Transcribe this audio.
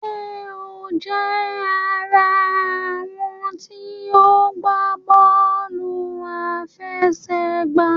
Ṣé o jẹ àrà àwọn tí o gbà bóòlù àfẹsẹ̀gbá?